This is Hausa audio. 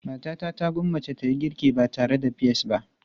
Matata ta gwammace ta yi girki ba tare da peas ba.